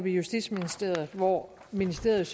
i justitsministeriet hvor ministeriet